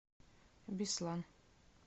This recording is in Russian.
беслан